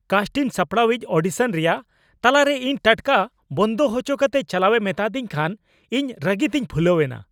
ᱠᱟᱥᱴᱤᱱ ᱥᱟᱯᱲᱟᱣᱤᱡ ᱚᱰᱤᱥᱚᱱ ᱨᱮᱭᱟᱜ ᱛᱟᱞᱟ ᱨᱮ ᱤᱧ ᱴᱟᱴᱠᱟ ᱵᱚᱱᱫᱚ ᱦᱚᱪᱚ ᱠᱟᱛᱮ ᱪᱟᱞᱟᱣᱮ ᱢᱮᱛᱟᱫᱤᱧ ᱠᱷᱟᱱ ᱤᱧ ᱨᱟᱹᱜᱤᱛᱮᱧ ᱯᱷᱩᱞᱟᱹᱣᱮᱱᱟ ᱾